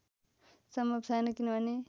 सम्भव छैन् किनभने